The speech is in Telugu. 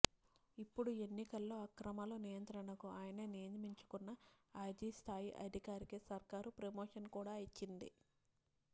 ఇప్పుడు ఎన్నికల్లో అక్రమాల నియంత్రణకు ఆయన నియమించుకున్న ఐజీ స్ధాయి అధికారికి సర్కారు ప్రమోషన్ కూడా ఇచ్చింది